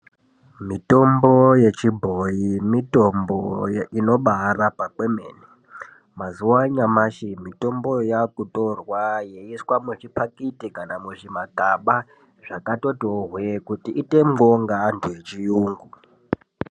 Mitombo yechibhoi mitombo inobarapa kwemene. Mazuwa anyamashi mitombo yakutorwa ichiiswa muzvimapakiti kana muzvimagaba zvakatotiwo hwee kuti itengwewo nevantu vechiyungu.